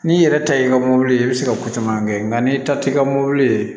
N'i yɛrɛ ta ye i ka mɔbili ye i bɛ se ka ko caman kɛ nka n'i ta t'i ka mobili